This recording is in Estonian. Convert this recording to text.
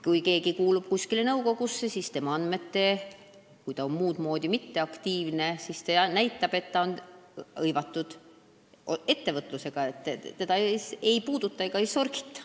Kui keegi kuulub kuskile nõukogusse, inimene on sel moel mitteaktiivne, siis see näitab, et ta on ka ettevõtlusega hõivatud – teda ei puudutata ega sorgita.